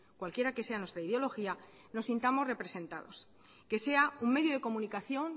cualquiera que sea nuestra ideología nos sintamos representados que sea un medio de comunicación